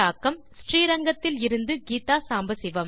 விடைபெறுவது ஸ்ரீரங்கத்தில் இருந்து கீதா சாம்பசிவம்